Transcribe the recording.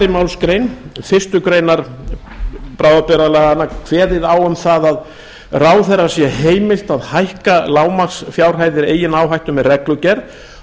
málsgrein fyrstu grein bráðabirgðalaganna kveðið á um það að ráðherra sé heimilt að hækka lágmarksfjárhæðir eigin áhættu með reglugerð